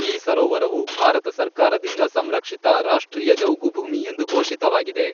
ಈ ಸರೋವರವು ಭಾರತ ಸರ್ಕಾರದಿಂದ ಸಂರಕ್ಷಿತ ರಾಷ್ಟ್ರೀಯ ಜೌಗುಭೂಮಿ ಎಂದು ಘೋಷಿತವಾಗಿದೆ.